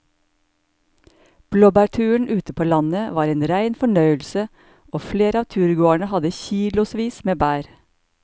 Blåbærturen ute på landet var en rein fornøyelse og flere av turgåerene hadde kilosvis med bær.